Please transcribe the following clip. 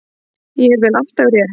Ég vel alltaf rétt.